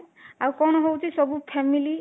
ଆଉ କଣ ହଉଚି ସବୁ family